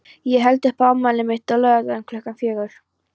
Ég held upp á afmælið mitt á laugardaginn klukkan fjögur.